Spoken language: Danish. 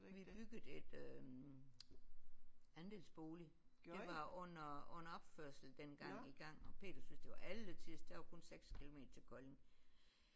Vi byggede et øh andelsbolig det var under under opførsel dengang i gang og Peter synes det var alletiders der var kun 6 kilometer til Kolding